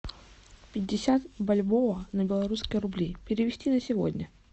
пятьдесят бальбоа на белорусские рубли перевести на сегодня